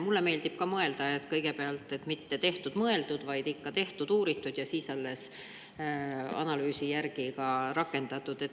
Mulle meeldib ka nii, et mitte kohe tehtud-mõeldud, vaid ikka tehtud-uuritud, ja siis analüüsi järgi ka rakendatud.